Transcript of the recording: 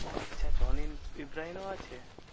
ও আচ্ছা জন ইব্রাহিম ও আছে?